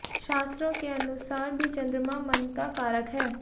शास्त्रों के अनुसार भी चंद्रमा मन का कारक है